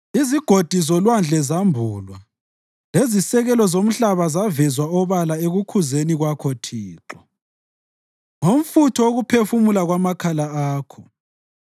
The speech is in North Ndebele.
Izigodi zolwandle zambulwa lezisekelo zomhlaba zavezwa obala ekukhuzeni kwakho Thixo, ngomfutho wokuphefumula kwamakhala akho.